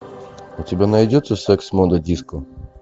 у тебя найдется секс мода диско